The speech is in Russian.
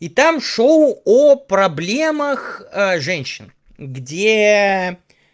и там шоу о проблемах женщин где